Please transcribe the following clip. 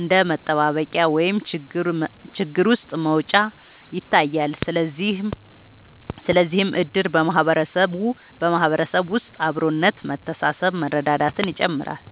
እንደ መጠባበቂያ ወይም ችግር ውስጥ መውጫ ይታያል ስለዚህም እድር በ ማህበረሰብ ውስጥ አብሮነት መተሳሰብ መረዳዳትን ይጨምራል